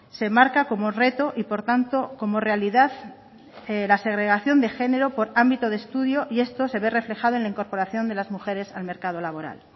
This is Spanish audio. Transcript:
se marca como reto y por tanto como realidad la segregación de género por ámbito de estudio y esto se ve reflejado en la incorporación de las mujeres al mercado laboral